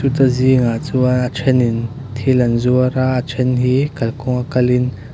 te zing ah chuan a then in thil an zuar a a then hi kalkawnga kalin.